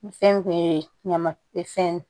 Fɛn ye ɲamab fɛn